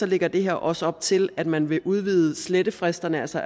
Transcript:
lægger det her også op til at man vil udvide slettefristerne så